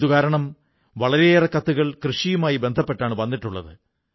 ഇതുകാരണം വളരെയേറെ കത്തുകൾ കൃഷിയുമായി ബന്ധപ്പെട്ടാണ് വന്നിട്ടുള്ളത്